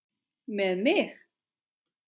Með mig?